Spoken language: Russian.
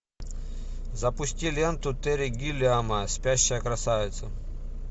запусти ленту терри гиллиама спящая красавица